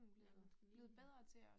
Ja, man skal lige